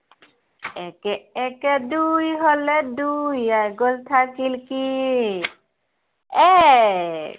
একে একে দুই হলে দুইৰ এক গ'ল থাকিল কি, এক।